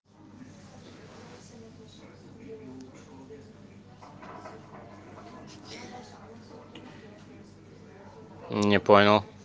не понял